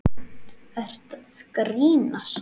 Ertu að grínast?